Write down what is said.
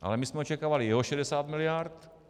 Ale my jsme očekávali jeho 60 miliard.